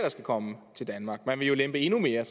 skal komme til danmark for man vil jo lempe endnu mere